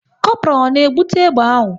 Kopral ọ na-ebute egbe ahụ?